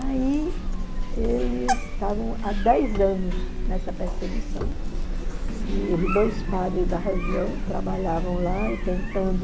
Aí eles estavam há dez anos nessa perseguição, e os dois padres da região trabalhavam lá e tentando...